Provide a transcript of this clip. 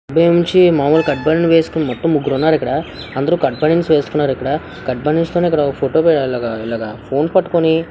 మలులుగా cut banian వేసుకున్నాటు ముగ్గురు ఉన్నారు ఇక్కడ అందరు కట్ బానిన్స్ వేస్కున్నారు ఇక్కడ కట్ బనిన్ ఇక్కడ ఫోటో ఫోన్ పట్టుకొని--